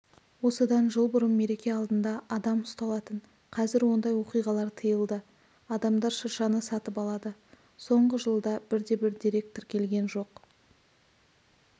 осыдан жыл бұрын мереке алдында адам ұсталатын қазір ондай оқиғалар тиылды адамдар шыршаны сатып алады соңғы жылда бірде-бір дерек тіркелген жоқ